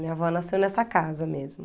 Minha avó nasceu nessa casa mesmo.